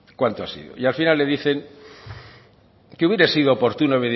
cuánto ha sido y al final le dicen que hubiera sido oportuno